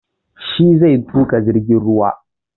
Shi zai tuƙa jirgin ruwan